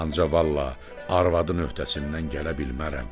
Ancaq vallah, arvadın öhdəsindən gələ bilmərəm.